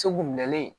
Segu minɛlen